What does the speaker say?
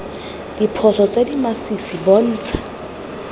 diphoso tse di masisi bontsha